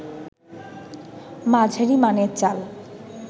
মাঝারি মানের চাল